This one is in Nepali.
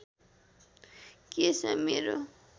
कि यसमा मेरो